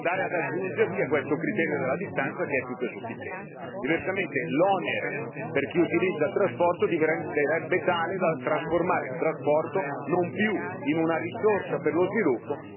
Diversamente, l'onere per chi utilizza il trasporto diventerebbe tale da trasformare il trasporto non più in una risorsa per lo sviluppo ma in un costo che, giustamente, i cittadini respingerebbero.